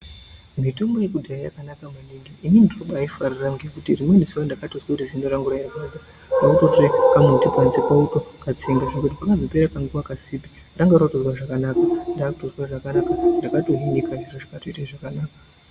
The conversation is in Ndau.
Mitombo yekudhaya yakanaka maningi ini ndinoba aifarira ngekuti rimweni zuva ndakatozwa kuti zino rangu rairwadza, kwakutotsvaka kamuti panze kwakutokatsenga panozopera kanguva kasipi ranga rakutozwa zvakanaka, ndakutozwa zvakanaka, ndakatohinaka ndingatozwa zvakanaka.